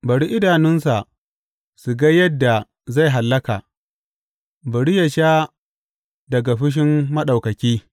Bari idanunsa su ga yadda zai hallaka; bari yă sha daga fushin Maɗaukaki.